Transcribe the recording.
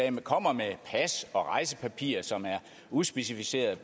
om kommer med pas og rejsepapirer som er udspecificeret